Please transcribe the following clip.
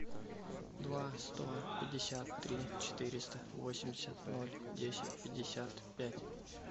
два сто пятьдесят три четыреста восемьдесят ноль десять пятьдесят пять